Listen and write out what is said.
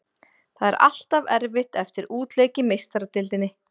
Það er alltaf erfitt eftir útileik í Meistaradeildinni.